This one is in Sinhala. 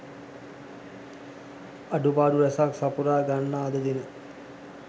අඩුපාඩු රැසක් සපුරා ගන්නා අද දින